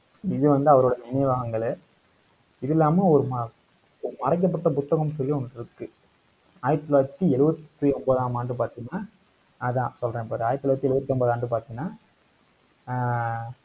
இங்க வந்து, அவரோட நினைவகங்களே. இது இல்லாம, ஒரு ம~ மறைக்கப்பட்ட புத்தகம்னு சொல்லி ஒண்ணு இருக்கு. ஆயிரத்தி தொள்ளாயிரத்தி எழுபத்தி ஒன்பதாம் ஆண்டு பார்த்தீங்கன்னா, அதான் சொல்றேன் பாரு ஆயிரத்தி தொள்ளாயிரத்தி எழுபத்தி ஒன்பதாம் ஆண்டு பார்த்தீங்கன்னா ஆஹ்